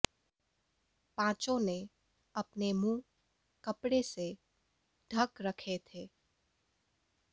पांचों ने अपने मुंह कपड़े से ढक रखे थे